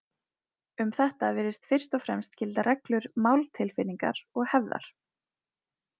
Um þetta virðast fyrst og fremst gilda reglur máltilfinningar og hefðar.